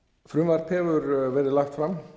frumvarp hefur verið lagt fram